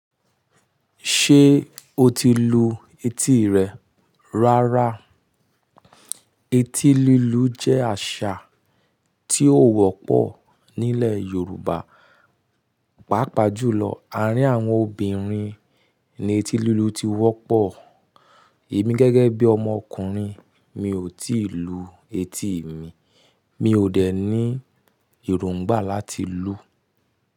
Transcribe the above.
Ṣé o ti lu etí rẹ? Rárá, etí lílu jẹ́ àṣà tí ó wọ́pọ̀ nílẹ̀ Yorùbá, pàápàá jùlọ àárín àwọn obìnrin ni etí lílu ti wọ́pọ̀. Èmi gẹ́gẹ́ bí ọmọkùnrin mi ò tíì lu etí mi, mi ò dẹ̀ ní èròngbà láti lu.